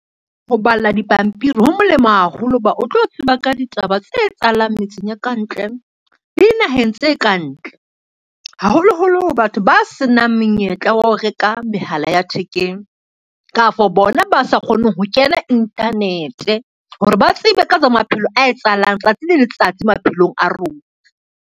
Ho bala dipampiri ho molemo haholo ho ba o tlo tseba ka ditaba tse etsahalang metseng ya kantle le dinaheng tse kantle. Haholoholo batho ba senang menyetla wa ho reka mehala ya thekeng, kafo bona ba sa kgoneng ho kena internet hore ba tsebe ka tsa maphelo a etsahalang tsatsi le letsatsi maphelong a rona.